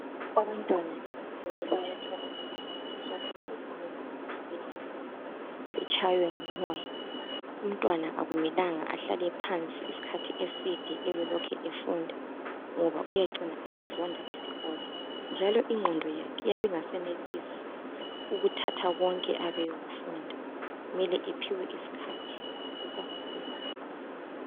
Abantwana esikolo bayathola isikhathi sokuthi baphume phandle badlale batshaywe ngumoya. Umntwana akumelanga ahlale phansi isikhathi eside abelokhe efunda ngoba uyacina esezonda isikolo njalo ingqondo yakhe iyabe ingasenelisi ukuthatha konke akufundayo mele aphiwe isikhathi eseneleyo sokuphumula.